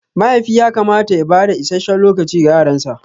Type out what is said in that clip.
Mahaifi yakamata ya bada isasshen lokaci ga yaransa.